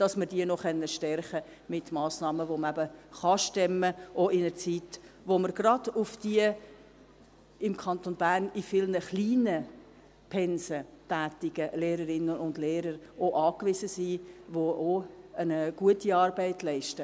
mit Massnahmen, die man auch in einer Zeit stemmen kann, da wir gerade auf diese im Kanton Bern in vielen kleinen Pensen tätigen Lehrerinnen und Lehrer angewiesen sind, die ebenfalls eine gute Arbeit leisten.